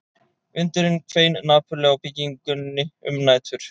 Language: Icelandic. Vindurinn hvein napurlega á byggingunni um nætur